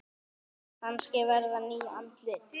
Kannski verða ný andlit.